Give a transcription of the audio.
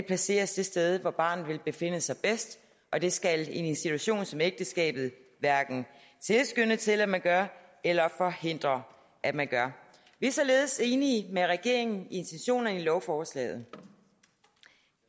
placeres det sted hvor barnet vil befinde sig bedst og det skal en institution som ægteskabet hverken tilskynde til at man gør eller forhindre at man gør vi er således enige med regeringen i intentionerne i lovforslaget